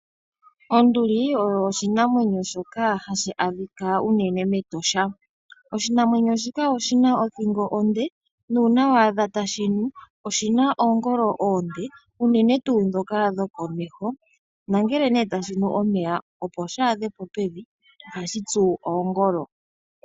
Onduli oyo oshinamwenyo hashi adhika unene mEtosha. Oshinamwenyo shika oshi na othingo onde. Nuuna waadha tashinu oshi na oongolo oonde, unene tuu dhoka dhokomeho nangele ne tashinu omeya opo shaadhepo pevi oha shi tsu oongolo.